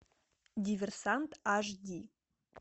диверсант аш ди